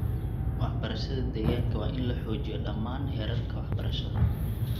Waxbarashada deegaanka waa in la xoojiyo dhammaan heerarka waxbarashada.